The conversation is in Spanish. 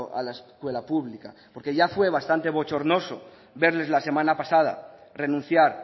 a la escuela pública porque ya fue bastante bochornoso verles la semana pasada renunciar